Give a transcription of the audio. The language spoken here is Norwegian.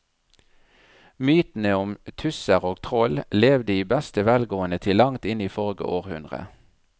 Mytene om tusser og troll levde i beste velgående til langt inn i forrige århundre.